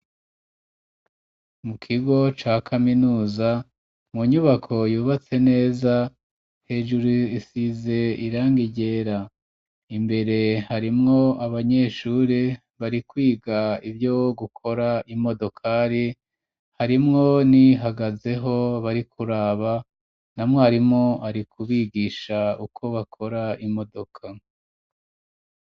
Mu kigo ca kaminuza mu nyubako yubatse neza hejuru isize irangi ryera imbere harimwo abanyeshuri bari kwiga ibyo gukora imodokari harimwo n'iyihagazeho bari kuraba na mwarimu ari kubigisha uko bakora imodoka.